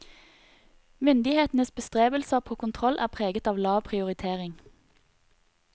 Myndighetenes bestrebelser på kontroll er preget av lav prioritering.